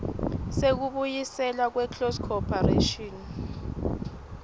sekubuyiselwa kweclose corporation